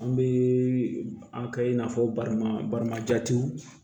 An bɛ a kɛ i n'a fɔ bari balima jatiw